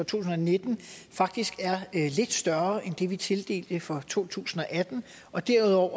tusind og nitten faktisk er lidt større end det vi tildelte for to tusind og atten og derudover